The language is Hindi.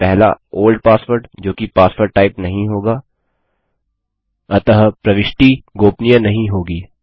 पहला ओल्ड password जो कि पासवर्ड टाइप नहीं होगा अतः प्रविष्टि गोपनीय नहीं होगी